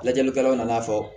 Lajɛlikɛlaw nana fɔ